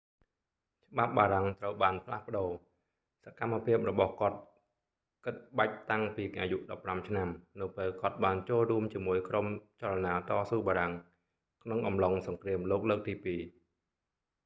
ច្បាប់បារាំងត្រូវបានផ្លាស់ប្តូរ សកម្មភាពរបស់គាត់ គិតបាច់តាំងពីអាយុ 15 ឆ្នាំ នៅពេលគាត់បានចូលរួមជាមួយក្រុមចលនាតស៊ូបារាំង ក្នុងអំឡុងសង្គ្រាមលោកលើកទីពីរ